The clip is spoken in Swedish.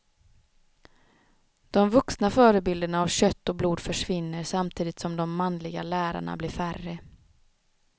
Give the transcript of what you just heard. De vuxna förebilderna av kött och blod försvinner samtidigt som de manliga lärarna blir färre.